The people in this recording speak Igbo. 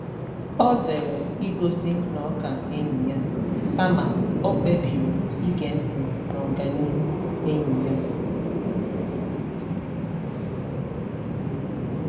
O zere igosi na ọ ka enyi ya, kama o kpebiri ige ntị n’ọganihu enyi ya.